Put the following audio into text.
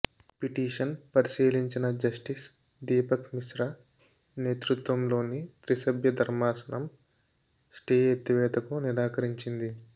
petition పరిశీలించిన justice Deepak Misra నేతృత్వంలోని తిస్రభ్య ధర్మాసనం స్టే ఎత్తివేతకు నిరాకరించింది